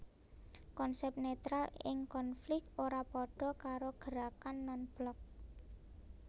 Konsep netral ing konflik ora padha karo gerakan non blok